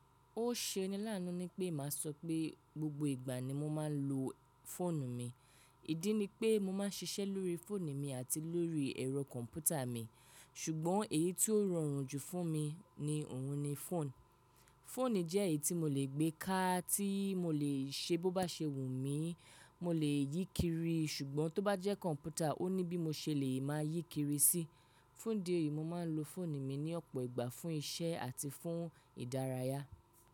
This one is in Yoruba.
Ó ṣe ni láánú ní pé màá sọ pé gbogbo ìgbà ni mo máa ń lo fóònù mi. Ìdí ni pé mo máà ń ṣiṣẹ́ lórí fóònù mi àti lórí ẹ̀rọ kọ̀ǹpútà mi, ṣùgbọ́n èyí tí ó rọrùn jù fún mi ni òun ni fóònù. Fóònù jẹ́ èyí tí mo lè gbé kà tí mo lè ṣe bó bá ṣe wù mí, mo lè yí kiri, ṣùgbọ́n tó bá jẹ́ kọ̀ǹpútà, ó ní bí mo ṣe lè máa yí kiri sí. Fún ìdí èyí, mo máa ń lo fóònù mi ní ọ̀pọ̀ ìgbà fún iṣẹ́ àti fún ìdárayá.